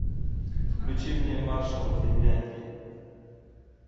включи мне маршал финляндии